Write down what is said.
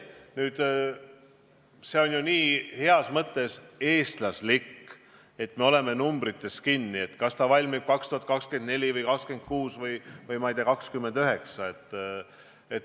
Nüüd, see on heas mõttes nii eestlaslik, kuidas me oleme numbrites kinni: kas ta valmib 2024 või 2026 või, ma ei tea, 2029?